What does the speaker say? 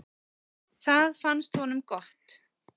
Það fannst honum gott.